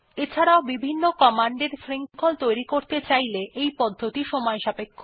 এছাড়াও য বিভিন্ন কমান্ড এর শৃঙ্খল তৈরী করতে চাইলে এই পদ্ধতিটি সময়সাপেক্ষ